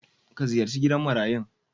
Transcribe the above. Ka ziyarci gidan marayun.